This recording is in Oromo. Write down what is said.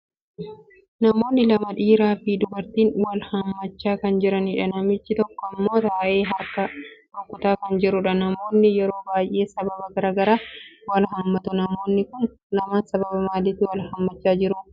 Namoonni lama dhiiraa fi dubartiin wal haammachaa kan jiranidha. Namichii tokko immoo taa'ee harka rukutaa kan jirudha. Namoonni yeroo baay'ee sababa garagaraaf wal haammatu. Namoonni kun lamaan sababa maaliitif wal haammachaa jiru?